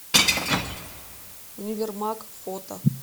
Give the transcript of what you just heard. универмаг фото